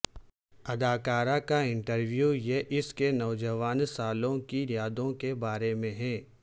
اداکارہ کا انٹرویو یہ اس کے نوجوان سالوں کی یادوں کے بارے میں ہے